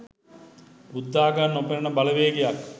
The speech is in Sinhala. බුද්ධාගම නොපෙනෙනෙන බලවේගයක්